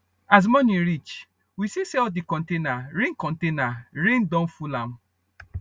as morning reach we see say all di container rain container rain don full am